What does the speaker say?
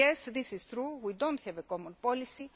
Yes, this is true we do not have a common policy